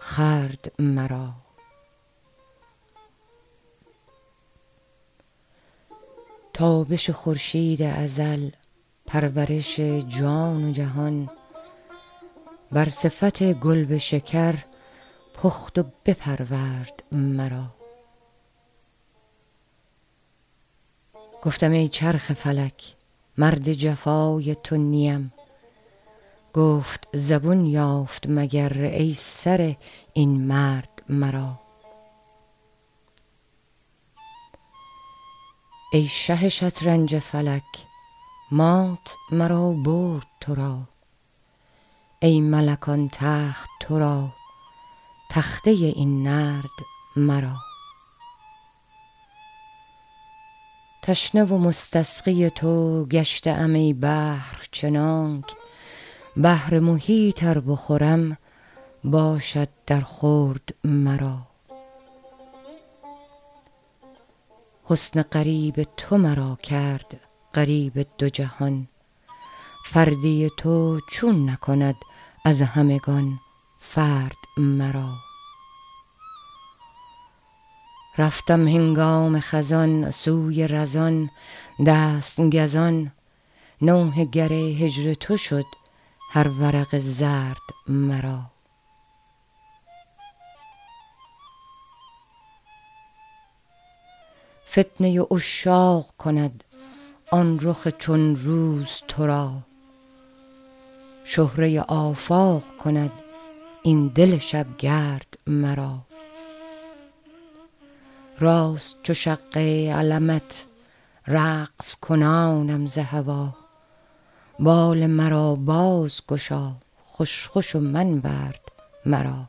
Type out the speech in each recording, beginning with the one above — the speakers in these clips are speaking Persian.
خورد مرا تابش خورشید ازل پرورش جان و جهان بر صفت گل به شکر پخت و بپرورد مرا گفتم ای چرخ فلک مرد جفای تو نیم گفت زبون یافت مگر ای سره این مرد مرا ای شه شطرنج فلک مات مرا برد تو را ای ملک آن تخت تو را تخته این نرد مرا تشنه و مستسقی تو گشته ام ای بحر چنانک بحر محیط ار بخورم باشد درخورد مرا حسن غریب تو مرا کرد غریب دو جهان فردی تو چون نکند از همگان فرد مرا رفتم هنگام خزان سوی رزان دست گزان نوحه گر هجر تو شد هر ورق زرد مرا فتنه عشاق کند آن رخ چون روز تو را شهره آفاق کند این دل شبگرد مرا راست چو شقه علمت رقص کنانم ز هوا بال مرا بازگشا خوش خوش و منورد مرا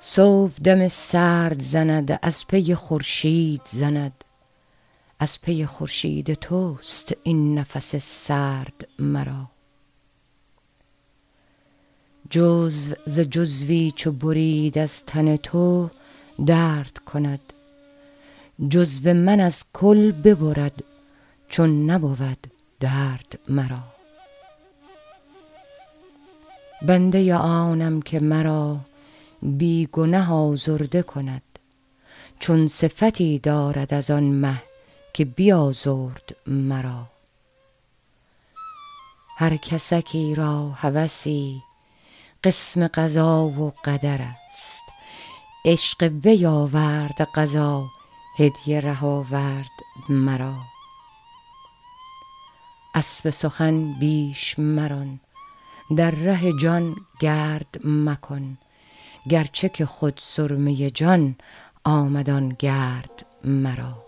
صبح دم سرد زند از پی خورشید زند از پی خورشید تو است این نفس سرد مرا جزو ز جزوی چو برید از تن تو درد کند جزو من از کل ببرد چون نبود درد مرا بنده آنم که مرا بی گنه آزرده کند چون صفتی دارد از آن مه که بیازرد مرا هر کسکی را هوسی قسم قضا و قدر است عشق وی آورد قضا هدیه ره آورد مرا اسب سخن بیش مران در ره جان گرد مکن گرچه که خود سرمه جان آمد آن گرد مرا